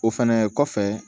O fɛnɛ kɔfɛ